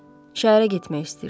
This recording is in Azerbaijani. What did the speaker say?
Şəhərə getmək istəyirsən.